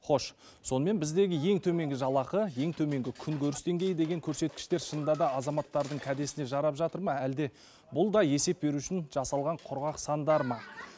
хош сонымен біздегі ең төменгі жалақы ең төменгі күнкөріс деңгейі деген көрсеткіштер шынында да азаматтардың кәдесіне жарап жатыр ма әлде бұл да есеп беру үшін жасалған құрғақ сандар ма